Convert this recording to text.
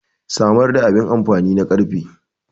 samar da abin amfani na karfe